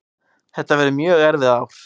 Þetta verði mjög erfið ár